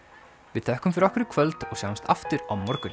við þökkum fyrir okkur í kvöld og sjáumst aftur á morgun